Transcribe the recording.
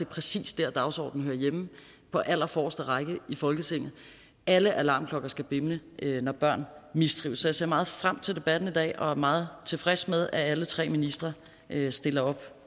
præcis der dagsordenen hører hjemme på allerforreste række i folketinget alle alarmklokker skal bimle når børn mistrives så jeg ser meget frem til debatten i dag og er meget tilfreds med at alle tre ministre stiller op